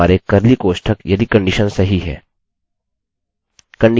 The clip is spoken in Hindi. कंडिशन इन कोष्ठकों के भीतर होगी